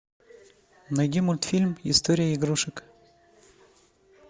найди мультфильм история игрушек